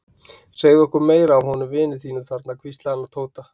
Segðu okkur meira af honum vini þínum þarna hvíslaði hann að Tóta.